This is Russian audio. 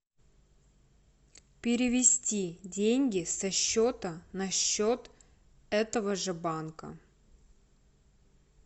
перевести деньги со счета на счет этого же банка